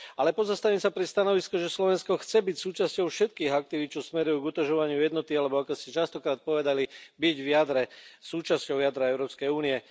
Ale pozastavím sa pri stanovisku, že Slovensko chce byť súčasťou všetkých aktivít, čo smerujú k utužovaniu jednoty alebo, ako ste častokrát povedali, byť v jadre, súčasťou jadra Európskej únie.